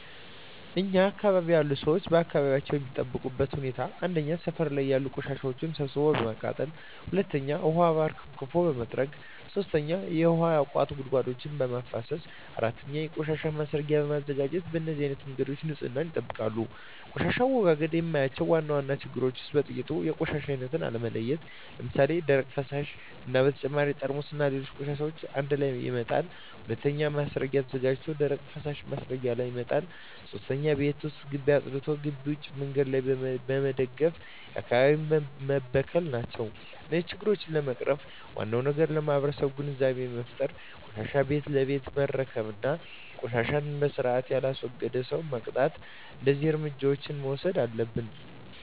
እኛ አካባቢ ያሉ ሠዎች አካባቢያቸውን የሚጠብቁበት ሁኔታ 1. ሠፈር ላይ ያሉ ቆሻሻዎችን ሠብስቦ በማቃጠል 2. ውሀ አርከፍክፎ በመጥረግ 3. ውሀ ያቋቱ ጉድጓዶችን በማፋሠስ 4. የቆሻሻ ማስረጊያ በማዘጋጀት በነዚህ አይነት መንገድ ንፅህናቸውን ይጠብቃሉ። በቆሻሻ አወጋገድ የማያቸው ዋና ዋና ችግሮች ውስጥ በጥቂቱ 1. የቆሻሻ አይነት አለመለየት ለምሣሌ፦ ደረቅ፣ ፈሣሽ እና በተጨማሪ ጠርሙስና ሌሎች ቆሻሻዎችን አንድላይ መጣል። 2. ማስረጊያ ተዘጋጅቶ ደረቅና ፈሣሽ ማስረጊያው ላይ መጣል። 3. ቤት ወይም ግቢ አፅድቶ ግቢ ውጭ መንገድ ላይ በመድፋት አካባቢውን መበከል ናቸው። እነዚህን ችግሮች ለመቅረፍ ዋናው ነገር ለማህበረሠቡ ግንዛቤ መፍጠር፤ ቆሻሻን ቤት ለቤት መረከብ እና ቆሻሻን በስርአት የላስወገደን ሠው መቅጣት። እደዚህ እርምጃዎች መውሠድ አለብን።